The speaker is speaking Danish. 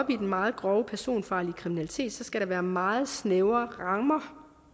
i den meget grove personfarlige kriminalitet skal der være meget snævre rammer